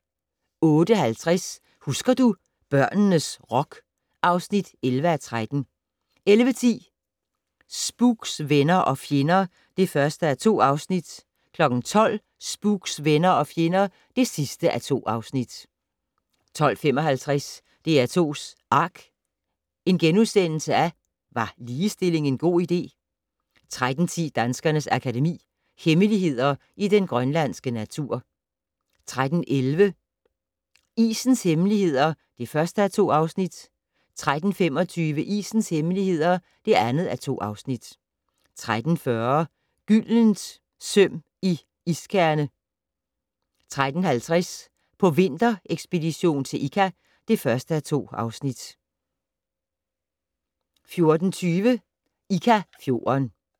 08:50: Husker du - børnenes rock (11:13) 11:10: Spooks: Venner og fjender (1:2) 12:00: Spooks: Venner og fjender (2:2) 12:55: DR2's ARK - Var ligestilling en god idé? * 13:10: Danskernes Akademi: Hemmeligheder i den grønlandske natur 13:11: Isens Hemmeligheder (1:2) 13:25: Isens Hemmeligheder (2:2) 13:40: Gyldent søm i iskerne 13:50: På vinterekspedition til Ikka (1:2) 14:20: Ikka-fjorden